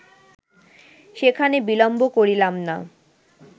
সেখানে বিলম্ব করিলাম না।